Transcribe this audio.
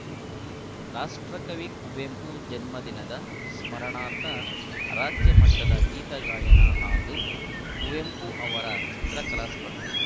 ರಾಷ್ಟ್ರಕವಿ ಕುವೆಂಪು ಜನ್ಮದಿನದ ಸ್ಮರಣಾರ್ಥ ರಾಜ್ಯ ಮಟ್ಟದ ಗೀತಗಾಯನ ಹಾಗೂ ಕುವೆಂಪು ಅವರ ಚಿತ್ರಕಲಾ ಸ್ಪರ್ಧೆ